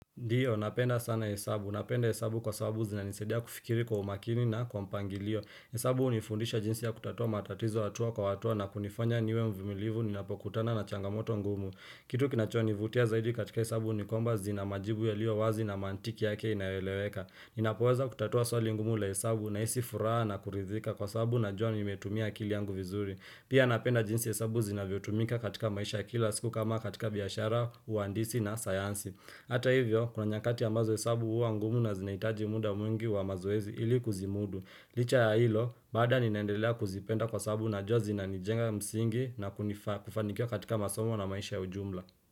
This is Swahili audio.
Ndiyo, napenda sana hesabu. Napenda hesabu kwa sababu zina nisaidia kufikiri kwa umakini na kwa mpangilio. Hesabu hunifundisha jinsi ya kutatua matatizo hatua kwa hatua na kunifanya niwe mvumilivu ninapokutana na changamoto ngumu. Kitu kinachonivutia zaidi katika hesabu ni kwamba zina majibu yalio wazi na mantiki yake inaeleweka. Ninapoweza kutatua swali ngumu la hesabu nahisi furaha na kuridhika kwa sababu najua nimetumia kili yangu vizuri. Pia napenda jinsi hesabu zinavyotumika katika maisha kila siku kama katika biashara, uhandisi na sayansi. Hata hivyo, kuna nyakati ambazo hesabu huwa ngumu na zinahitaji muda mwingi wa mazoezi ili kuzimudu. Licha ya hilo, bado ninaendelea kuzipenda kwa sababu najua zinanijenga msingi na kufanikiwa katika masomo na maisha ujumla.